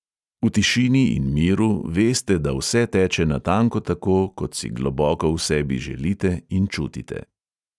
V tišini in miru veste, da vse teče natanko tako, kot si globoko v sebi želite in čutite.